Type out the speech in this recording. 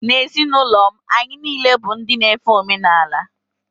N’ezinụlọ m, anyị niile bụ ndị na-efe omenala